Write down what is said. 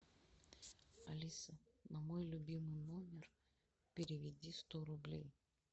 алиса на мой любимый номер переведи сто рублей